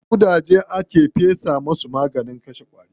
Ƙudaje aka fesa wa maganin kashe ƙwari.